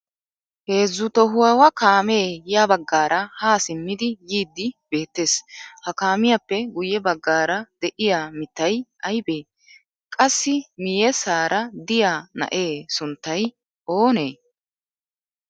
Heezzu tohuwawa kaame ya baggaara ha simmidi yiidi beettees. Ha kaamiyappe guyye baggaara de'iya mittay aybe? Qassi miyyeesara diya na'e sunttay oonee?